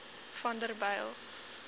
vanderbijl